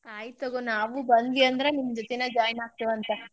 ಆಯಿತ್ ತಗೋ ನಾವು ಬಂದ್ವಿ ಅಂದ್ರ್, ನಿಮ್ ಜೊತಿನ join ಆಗ್ತಿವಂತ.